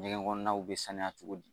Ɲɛgɛn kɔnɔnaw bɛ sanuya cogo di